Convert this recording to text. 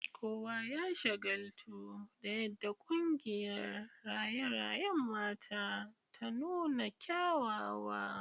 Kowa ya shagaltu da yadda kungiyar raye-rayen mata ta nuna kyawawa.